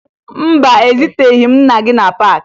Mba, ezuteghi m nna gị na paakị